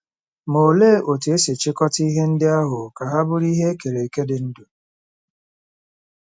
Ma olee otú e si chịkọta ihe ndị ahụ ka ha bụrụ ihe e kere eke dị ndụ?